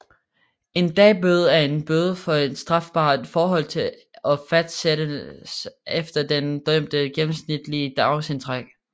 En dagbøde er en bøde for et strafbart forhold og fastsættes efter den dømtes gennemsnitlige dagsindtægt